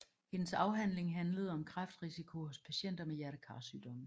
Hendes afhandling handlede om kræftrisiko hos patienter med hjertekarsygdomme